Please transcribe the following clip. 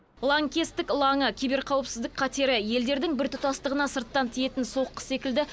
лаңкестік лаңы киберқауіпсіздік қатері елдердің біртұтастығына сырттан тиетін соққы секілді